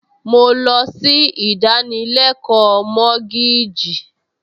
Mo lọ sí ìdánilẹ́kọ̀ọ́ mọ́gíìjì